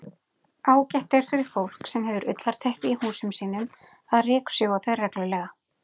Ágætt er fyrir fólk sem hefur ullarteppi í húsum sínum að ryksjúga þau reglulega.